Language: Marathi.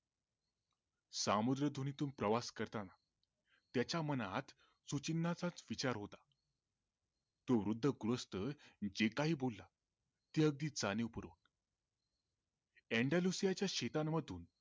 समुद्रधुनीतून प्रवास करताना त्याचा मनात सूचिन्हांचाच विचार होता तो वृद्ध गृहस्थ जे काही बोलला, जे अगदी जाणीवपूर्वक ENDONESIA च्या शेतां मधून